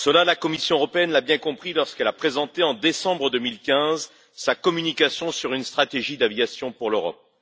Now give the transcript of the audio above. La Commission européenne l'a bien compris lorsqu'elle a présenté, en décembre 2015, sa communication sur une stratégie de l'aviation pour l'Europe.